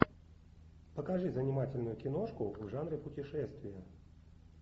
покажи занимательную киношку в жанре путешествия